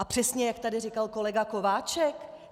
A přesně jak tady říkal kolega Kováčik.